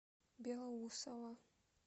белоусово